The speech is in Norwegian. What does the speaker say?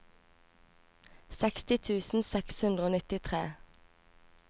seksti tusen seks hundre og nittitre